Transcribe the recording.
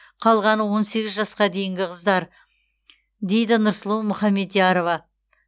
қалғаны он сегіз жасқа дейінгі қыздар дейді нұрсұлу мұхаметярова